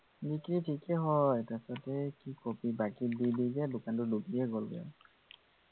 বিক্ৰি থিকে হয় তাৰপাচতে কি কবি বাকী দি দিওঁ যে দোকানটো ডুবিয়ে গলগে আৰু